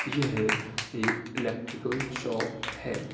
यह एक electrical shop है |